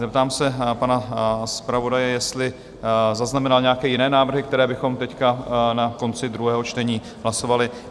Zeptám se pana zpravodaje, jestli zaznamenal nějaké jiné návrhy, které bychom teď na konci druhého čtení hlasovali?